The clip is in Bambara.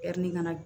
ŋana